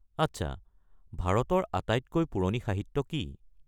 আচ্ছা, ভাৰতৰ আটাইতকৈ পুৰণি সাহিত্য কি?